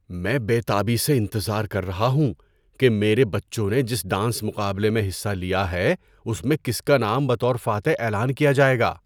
میں بے تابی سے انتظار کر رہا ہوں کہ میرے بچوں نے جس ڈانس مقابلے میں حصہ لیا ہے اس میں کس کا نام بطور فاتح اعلان کیا جائے گا۔